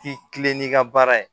K'i kilen n'i ka baara ye